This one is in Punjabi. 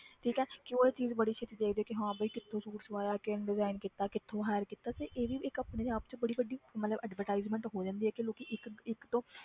ਠੀਕ ਹੈ ਕਿ ਉਹ ਇਹ ਚੀਜ਼ ਬੜੀ ਛੇਤੀ ਦੇਖਦੇ ਆ ਕਿ ਹਾਂ ਵੀ ਕਿੱਥੋਂ suit ਸਵਾਇਆ ਕਿੰਨੇ design ਕੀਤਾ ਕਿੱਥੋਂ hire ਕੀਤਾ ਤੇ ਇਹ ਵੀ ਇੱਕ ਆਪਣੇ ਆਪ 'ਚ ਬੜੀ ਵੱਡੀ ਮਤਲਬ advertisement ਹੋ ਜਾਂਦੀ ਹੈ ਕਿ ਲੋਕੀ ਇੱਕ ਇੱਕ ਤੋਂ